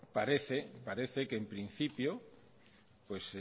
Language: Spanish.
parece que en principio